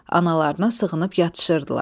Analarına sığınıb yatışırdılar.